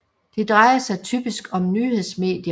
Det drejer sig typisk om nyhedsmedier